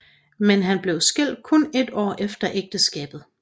Men han blev skilt kun et år efter ægteskabet